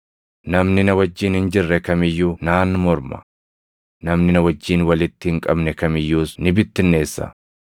“Namni na wajjin hin jirre kam iyyuu naan morma; namni na wajjin walitti hin qabne kam iyyuus ni bittinneessa.